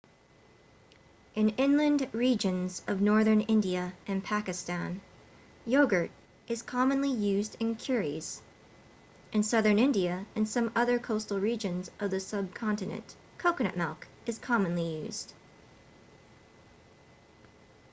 in inland regions of northern india and pakistan yogurt is commonly used in curries in southern india and some other coastal regions of the subcontinent coconut milk is commonly used